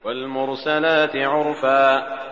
وَالْمُرْسَلَاتِ عُرْفًا